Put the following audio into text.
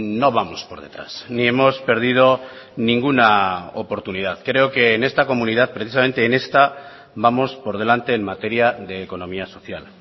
no vamos por detrás ni hemos perdido ninguna oportunidad creo que en esta comunidad precisamente en esta vamos por delante en materia de economía social